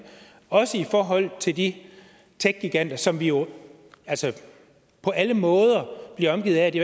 også i forhold til de techgiganter som vi jo altså på alle måder er omgivet af det